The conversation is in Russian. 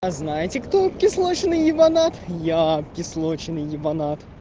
а знаете кто кислочный ебанат я кислочный ебанат